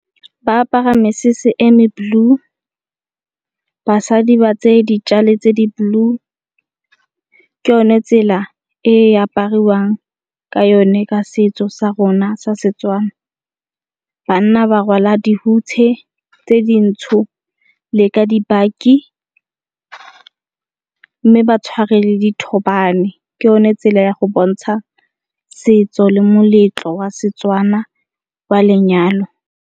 Ba apara mesese e me blue basadi ba tseye ditjale tse di blue. Ke yone tsela e e apariwang ka yone ka setso sa rona sa Setswana. Banna ba rwala dihutshe tse dintsho le ka dibaki mme ba tshware le dithobane, ke yone tsela ya go bontsha setso le moletlo wa Setswana wa lenyalo.